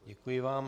Děkuji vám.